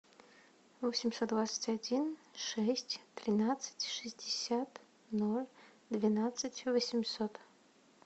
восемьсот двадцать один шесть тринадцать шестьдесят ноль двенадцать восемьсот